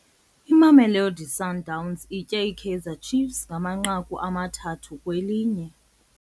Imamelodi Sundowns itye iKaizer Chiefs ngamanqaku amathathu kwelinye.